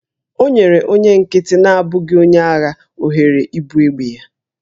O nyere onye nkịtị na-abụghị onye agha ohere ibu egbe ya